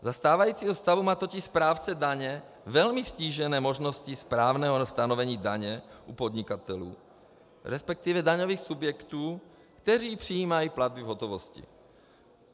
Za stávajícího stavu má totiž správce daně velmi ztížené možnosti správného stanovení daně u podnikatelů, respektive daňových subjektů které přijímají platby v hotovosti.